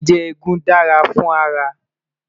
jíjẹ egún dá fún ara